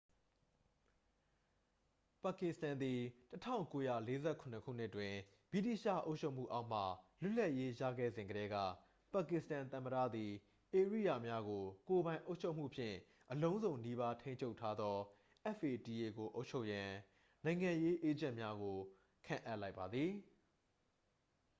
"ပါကစ္စတန်သည် ၁၉၄၇ ခုနှစ်တွင် ဗြိတိသျှအုပ်ချုပ်မှုအောက်မှ လွတ်လပ်ရေးရခဲ့စဉ်ကတည်းက ပါကစ္စတန်သမ္မတသည် ဧရိယာများကို ကိုယ်ပိုင်အုပ်ချုပ်မှုဖြင့် အလုံးစုံနီးပါးထိန်းချုပ်ထားသော fata ကို အုပ်ချုပ်ရန် "နိုင်ငံရေးအေးဂျင့်များ" ကို ခန့်အပ်လိုက်ပါသည်။